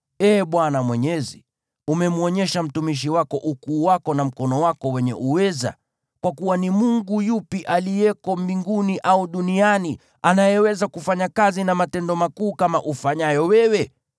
“Ee Bwana Mwenyezi, umemwonyesha mtumishi wako ukuu wako na mkono wako wenye uweza. Kwa kuwa ni mungu yupi aliye mbinguni au duniani anayeweza kufanya kazi na matendo makuu kama ufanyayo wewe?